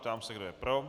Ptám se, kdo je pro.